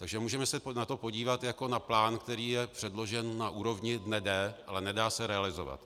Takže můžeme se na to podívat jako na plán, který je předložen na úrovni dne D, ale nedá se realizovat.